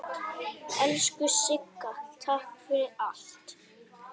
Elsku Sigga, takk fyrir allt.